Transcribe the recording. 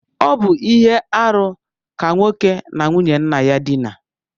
Ọ bu ihe-árú ka nwoke na nwunye nna ya dina.